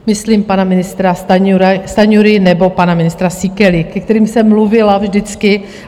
Myslím pana ministra Stanjuru nebo pana ministra Síkelu, ke kterým jsem mluvila vždycky.